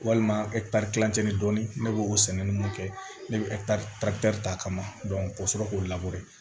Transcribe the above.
Walima kilancɛ ni dɔɔnin ne b'o sɛnɛ nunnu kɛ ne be ta ka na ka sɔrɔ k'o